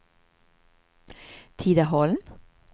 Tidaholm